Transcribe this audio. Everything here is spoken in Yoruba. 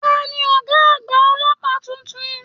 Tani ọgá àgbà ọlọ́pàá títún?